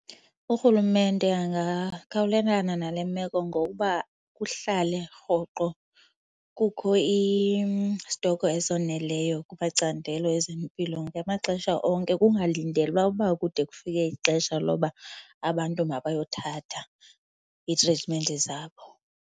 URulumente angakhawulelana nale meko ngokuba kuhlale rhoqo kukho istokho esoneleyo kumacandelo ezempilo ngamaxesha onke. Kungalindelwa uba kude kufike ixesha loba abantu mabayothatha iitritmenti zabo.